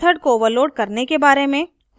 method को overload करने के बारे में